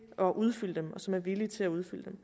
at udfylde dem og som er villige til at udfylde dem